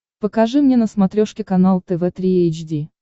покажи мне на смотрешке канал тв три эйч ди